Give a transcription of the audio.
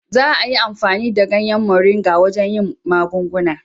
Za a yi amfani da ganyen Moringa wajen yin magunguna.